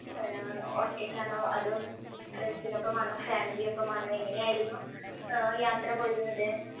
ആഹ് ഒറ്റയ്ക്കാണോ അതോ friends നൊപ്പമാണോ family ഒപ്പമാണോ എങ്ങനെയായിരുന്നു ആഹ് യാത്ര പോയിരുന്നത്?